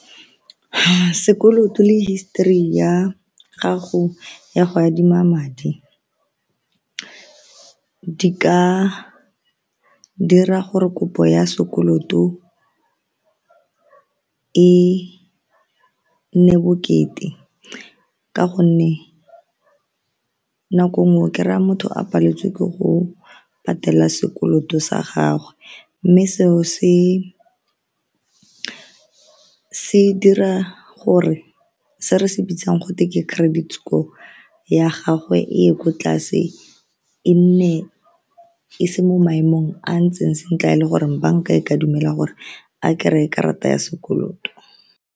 Sekoloto le history ya gago ya go adima madi di ka dira gore kopo ya sekoloto e nne bokete ka gonne nako nngwe okry-a motho a paletswe ke go patela sekoloto sa gagwe mme seo se dira gore se re se bitsang gotwe ke credit score ya gagwe e ye kwa tlase, e nne e se mo maemong a ntseng sentle a e le goreng banka e ka dumela gore a kry-e karata ya sekoloto.